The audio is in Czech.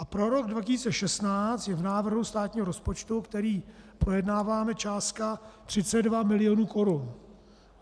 A pro rok 2016 je v návrhu státního rozpočtu, který projednáváme, částka 32 milionů korun.